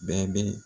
Bɛɛ bɛ